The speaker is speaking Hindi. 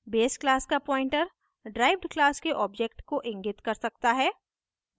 base class का pointer ड्राइव्ड class के object को इंगित कर सकता है